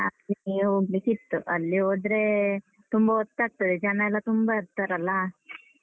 ಹೋಗ್ಲಿಕ್ಕಿತ್ತು. ಅಲ್ಲಿ ಹೋದ್ರೆ ತುಂಬ ಹೊತ್ತಾಗ್ತದೆ. ಜನ ಎಲ್ಲ ತುಂಬ ಇರ್ತಾರಲ್ಲ?